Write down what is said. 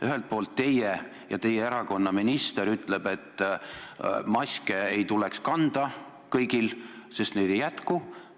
Ühelt poolt ütlete teie ja ütleb ka teie erakonna minister, et maske ei tuleks kanda kõigil, sest neid ei jätku.